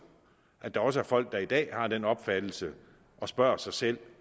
at der også er folk der i dag har den opfattelse og spørger sig selv